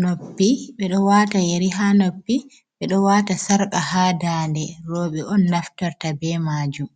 noppi. Ɓe ɗo waata yeri haa noppi, ɓe ɗo waata sarka haa daande rowɓe on naftorta be maajum.